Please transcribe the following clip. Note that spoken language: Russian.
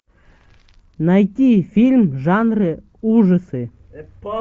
найти фильм в жанре ужасы